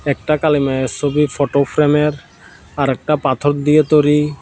একটা কালী মায়ের সোবি ফোটো ফ্রেমের আরেকটা পাথর দিতে তোরি ।